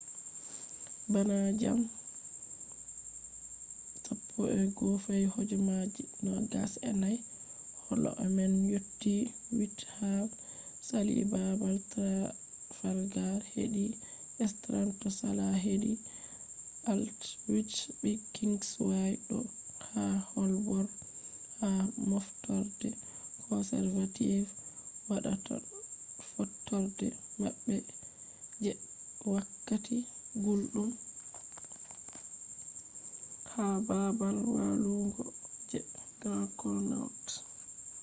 bana jamdi 11:29 holo man yotti whitehall sali babal trafalgar hedi strand do sala hedi aldwych be kingsway do yaha holborn ha moftorde conservative wadata fottorde mabbe je wakkati guldum ha babal walugo je grand connaught